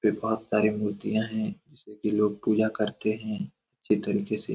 सारी मूर्तियाँ है जिसकी लोग पूजा करते हैं अच्छे तरीके से।